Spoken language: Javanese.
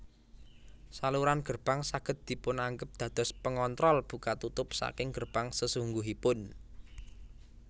Saluran gerbang saged dipunanggep dados pengontrol buka tutup saking gerbang sesungguhipun